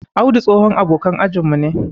Audu tsohon abokan ajin mu ne.